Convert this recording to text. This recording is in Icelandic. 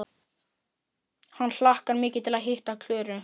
Hann hlakkar mikið til að hitta Klöru!